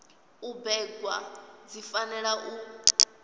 u bebwa dzi fanela u